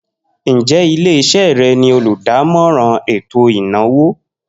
Njẹ ile-iṣẹ rẹ ni oludamọran eto inawo?